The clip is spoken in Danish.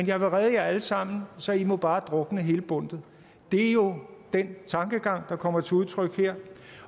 jeg vil redde jer alle sammen så i må bare drukne hele bundtet det er jo den tankegang der kommer til udtryk her